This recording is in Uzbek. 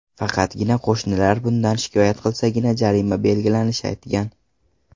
Faqatgina qo‘shnilar bundan shikoyat qilsagina jarima belgilanishini aytgan.